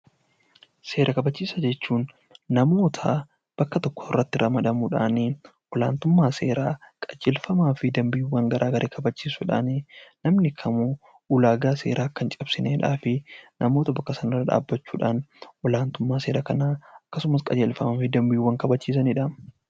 Seera kabachiisaa jechuun namoota bakka tokkotti ramadamuudhaan olaantummaa seeraa qajeelfamaa fi dambiiwwan seeraa kabachiisuudhaan namni kamuu ulaagaa seeraa Akka hin cabsineef namoota fuuldura dhaabbachuudhaan olaantummaa seeraa fi dambiiwwan kabachiisanidha